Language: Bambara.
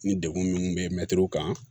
Ni degkun minnu bɛ mɛtiriw kan